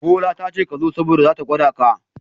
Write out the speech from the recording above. Bola tace kazo saboda zata gwada ka.